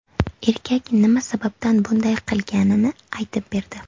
Erkak nima sababdan bunday qilganini aytib berdi.